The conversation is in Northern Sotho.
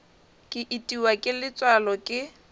ke itiwa ke letswalo ke